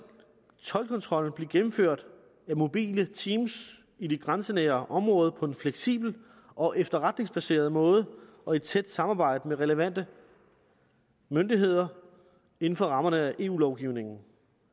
toldkontrollen blive gennemført af mobile team i de grænsenære områder på en fleksibel og efterretningsbaseret måde og i tæt samarbejde med relevante myndigheder inden for rammerne af eu lovgivningen